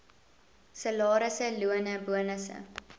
salarisse lone bonusse